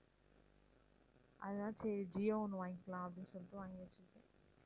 அதான் சரி ஜியோ ஒண்ணு வாங்கிக்கலாம் அப்படின்னு சொல்லிட்டு வாங்கி வச்சிருக்கேன்